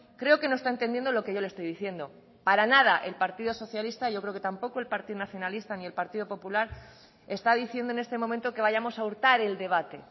creo que no está entendiendo lo que yo le estoy diciendo para nada el partido socialista yo creo que tampoco el partido nacionalista ni el partido popular está diciendo en este momento que vayamos a hurtar el debate